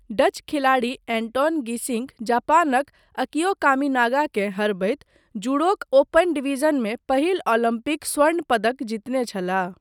Dutch खिलाड़ी Anton Geesink जापानक Akio कामिनागाकेँ हरबैत जूडोक ओपन डिवीजनमे पहिल ओलम्पिक स्वर्ण पदक जीतने छलाह।